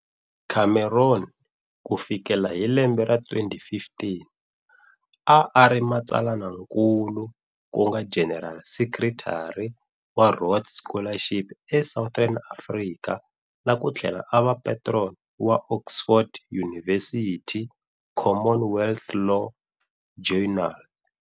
Cameron ku fikela hi lembe ra 2015, a a ri matsalanankulu ku nga general secretary wa Rhodes Scholarships e Southern Africa na ku tlhela a va patron wa Oxford University Commonwealth Law Journal.